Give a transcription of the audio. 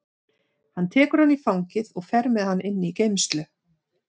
Hann tekur hann í fangið og fer með hann inn í geymslu.